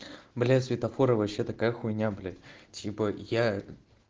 бля светофоры вообще такая хуйня блять типа я